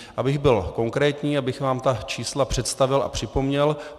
Abych byl konkrétní, abych vám ta čísla představil a připomněl.